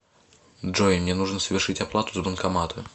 джой мне нужно совершить оплату с банкомата